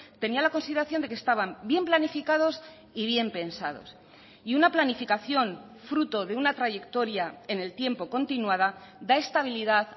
tenía la consideración de que estaban bien planificados y bien pensados y una planificación fruto de una trayectoria en el tiempo continuada da estabilidad